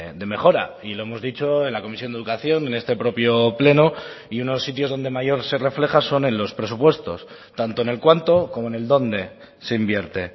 de mejora y lo hemos dicho en la comisión de educación en este propio pleno y unos sitios donde mayor se refleja son en los presupuestos tanto en el cuánto como en el dónde se invierte